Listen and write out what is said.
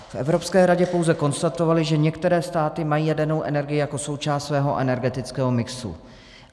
V Evropské radě pouze konstatovali, že některé státy mají jadernou energii jako součást svého energetického mixu.